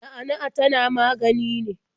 Na'a na'a tana magani ne?